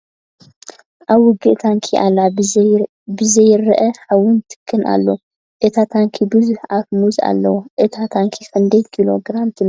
ኣብ ውግእ ታንኪ ኣላ ብዙርይኣ ሓው ን ትክን ኣሎ ። እታ ታንኪ ብዙሕ ኣፈ ሙዝ ኣለዋ ። እታ ታንኪ ክንደይ ኪሎ ግራም ትምዘን ?